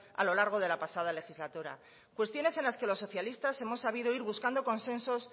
a lo largo de la pasada legislatura cuestiones en las que los socialistas hemos sabido ir buscando consensos